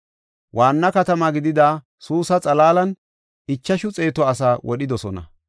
Waanna katama gidida Suusa xalaalan ichashu xeetu asaa wodhidosona.